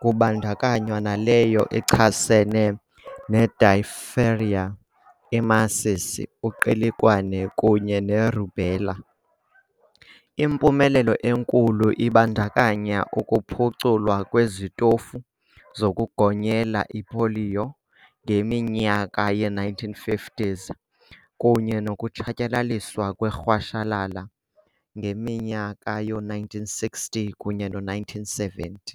kubandakanywa naleyo ichasene ne-diphtheria, imasisi, uqilikwane, kunye nerubella. Impumelelo enkulu ibandakanya ukuphuculwa kwezitofu zokugonyela ipoliyo ngeminyaka ye-1950s kunye nokutshatyalaliswa kwerhashalala ngeminyaka yo-1960 kunye no-1970.